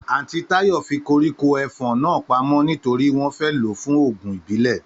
Àntí Táyò fi koríko ẹfọ̀n náà pamó nítorí wọn fẹ lo fún òògùn ìbílè